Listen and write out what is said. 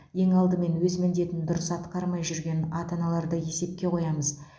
ең алдымен өз міндетін дұрыс атқармай жүрген ата аналарды есепқе қоямыз